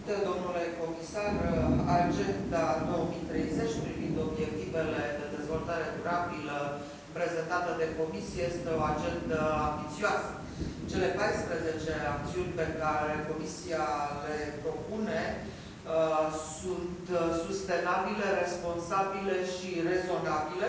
Doamnă președintă, domnule comisar, Agenda 2030 privind obiectivele de dezvoltare durabilă prezentată de Comisie este o agendă ambițioasă. Cele 14 acțiuni pe care Comisia le propune sunt sustenabile, responsabile și rezonabile,